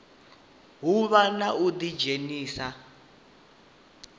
hu vhe na u ḓidzhenisa